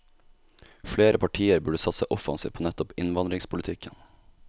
Flere partier burde satse offensivt på nettopp innvandringspolitikken.